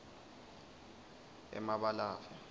emabalave